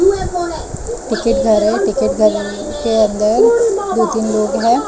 Ticket घर है ticket घरर के अंदर दो तीन लोग हैं।